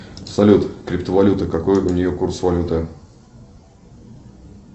салют криптовалюта какой у нее курс валюты